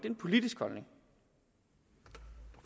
en politisk holdning